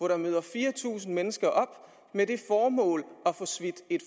der møder fire tusind mennesker op med det formål at få smidt et